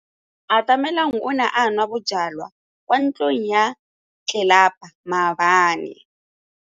Atamelang o ne a nwa bojwala kwa ntlong ya tlelapa maobane.